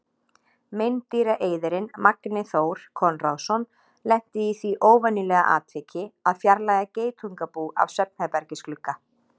Meindýraeyðirinn Magni Þór Konráðsson lenti í því óvenjulega atviki að fjarlægja geitungabú af svefnherbergisglugga.